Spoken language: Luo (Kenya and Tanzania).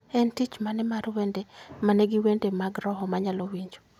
en tich mane mar wende manigi wende mag roho manyalo winjo